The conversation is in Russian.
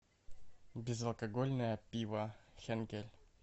безалкогольное пиво хенкель